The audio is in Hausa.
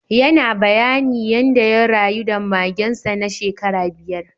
Yana bayani yanda ya rayu da magen sa na shekara biyar.